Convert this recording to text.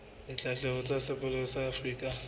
ditshebeletso tsa sepolesa sa afrika